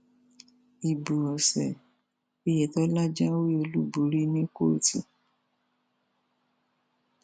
ibo ọsẹ ọyẹtọlá jáwé olúborí ní kóòtù